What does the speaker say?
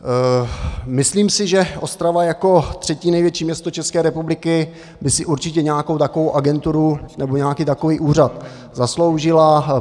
Myslím si, že Ostrava jako třetí největší město České republiky by si určitě nějakou takovou agenturu nebo nějaký takový úřad zasloužila.